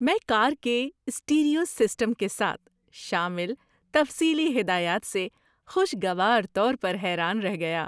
میں کار کے stereo system کے ساتھ شامل تفصیلی ہدایات سے خوشگوار طور پر حیران رہ گیا۔